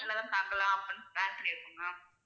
உங்க hotel ல தா தங்கலான்னு plan பண்ணி இருக்கோம் ma'am